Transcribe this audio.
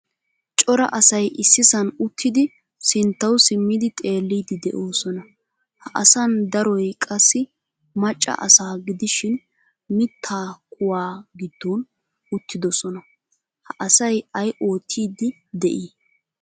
Cora asay issisan uttidi sinttawu simmidi xeelidi deosona. Ha asan daroy qassi macca asaa gidishin mitta kuwaa giddon uttidosona. Ha asaay ay oottidi de'i?